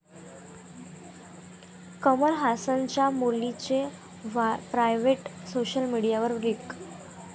कमल हासनच्या मुलीचे private '' social मीडियावर लीक